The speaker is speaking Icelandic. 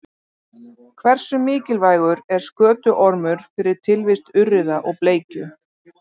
Hversu mikilvægur er skötuormur fyrir tilvist urriða og bleikju?